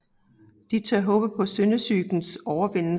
De tør håbe på syndesygens overvindelse